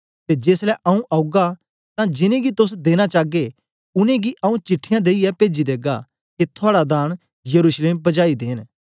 ते जेसलै आऊँ औगा तां जिनैं गी तोस देना चागे उनेंगी आऊँ चिट्ठीयां देईयै पेजी देगा के थुआड़ा दान यरूशलेम पजाई देंन